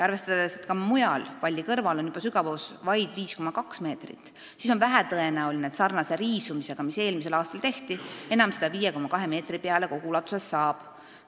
Arvestades, et ka mujal, valli kõrval on juba sügavus vaid 5,2 meetrit, siis on vähetõenäoline, et sarnase riisumisega, mis eelmisel aastal tehti, enam seda 5,2 meetri peale kogu ulatuses saab.